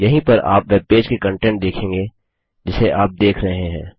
यहीं पर आप वेबपेज के कंटेंट देखेंगे जिसे आप देख रहे हैं